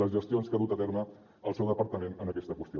les gestions que ha dut a terme el seu departament en aquesta qüestió